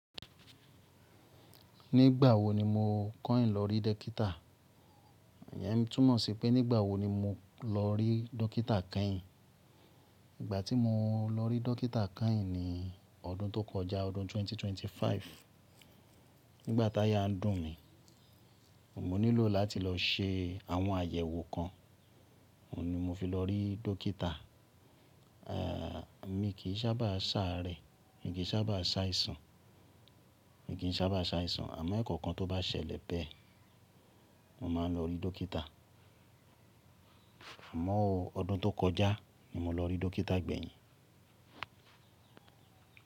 Nígbà wo ni mo kọ̀ín lọ rí dekítà? Iyen n túnmọ̀ sí pé nígbà wo ni mo lọ rí dókítà kányìn. Ìgbà tí mo lọ rí dókítà kányìn ni ọdún tó kọjá, ọdún ẹgbẹ̀rún méjì ó lé ẹ́ẹ́dọ́gbọ̀n. Nígbà táyà ń dùn mí, mo nílò láti lọ ṣe àwọn àyẹ̀wò kan, òun ni mo fi lọ rí dókítà. Eeh, mo kì í sábà sáré, mi kì í sábà ṣàìsàn, mi kì í sábà ṣàìsàn, àmọ́ ẹ̀ẹ̀kọ̀kan tó bá ṣẹlẹ̀ bẹ́ẹ̀, mo máa ń lọ rí dókítà. Àmọ́ ọdún tó kọjá ni mo lọ rí dókítà gbẹ̀yìn.